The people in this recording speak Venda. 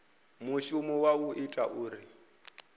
mushumo wa u ita uri